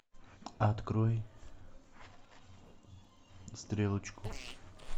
открой стрелочку